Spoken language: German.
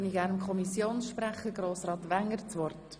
Ich gebe gerne dem Kommissionssprecher Grossrat Wenger das Wort.